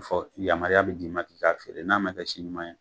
Fɔ yamaruya be d'i ma bi, i k'a feere, n'a ma kɛ si ɲuman ye